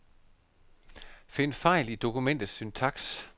Find fejl i dokumentets syntaks.